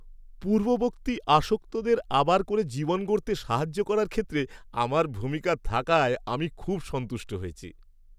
পূর্ববর্তী আসক্তদের আবার করে জীবন গড়তে সাহায্য করার ক্ষেত্রে আমার ভূমিকা থাকায় আমি খুব সন্তুষ্ট হয়েছি।